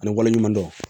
Ani waleɲuman dɔn